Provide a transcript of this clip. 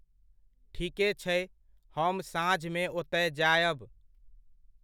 ठीके छै! हम साँझमे ओतय जायब।